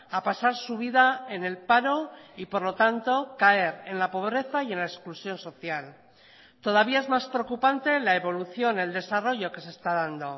a pasar su vida en el paro y por lo tanto caer en la pobreza y en la exclusión social todavía es más preocupante la evolución el desarrollo que se está dando